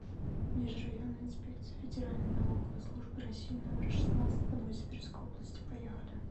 межрайонная инспекция федеральной налоговой службы россии номер шестнадцать по новосибирской области поехали